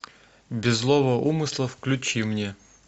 без злого умысла включи мне